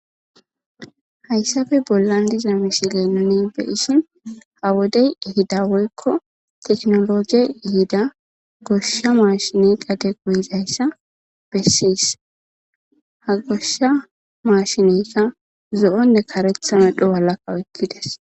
Hayssafe bollan diza mishile nuni be ishin ha wodey ihida woykko teknologiey ihida goshsha maashine qade quhizayssa bessiyys ha goshsha maashineyka zo'onne karetha medho walaka oykkides